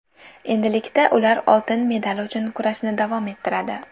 Endilikda ular oltin medal uchun kurashni davom ettiradi.